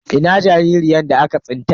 Ina jaririyar da aka tsinta?